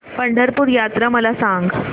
पंढरपूर यात्रा मला सांग